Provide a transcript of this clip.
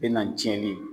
Bɛ na tiɲɛni ye